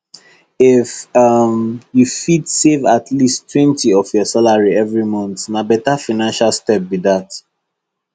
if um you fit save at leasttwentyof your salary every month na better financial step be that